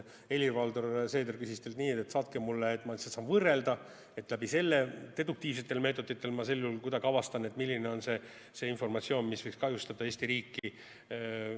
Helir-Valdor Seeder palus teilt nii, et saatke mulle, ma lihtsalt saan võrrelda, et läbi selle deduktiivsetel meetoditel kuidagi avastan, milline on see informatsioon, mis võiks kahjustada Eesti riiki.